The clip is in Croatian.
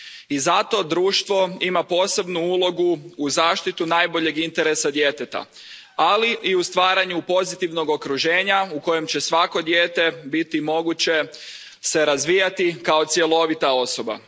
I zato društvo ima posebnu ulogu u zaštiti najboljeg interesa djeteta, ali i u stvaranju pozitivnog okruženja u kojem će svako dijete biti moguće se razvijati kao cjelovita osoba.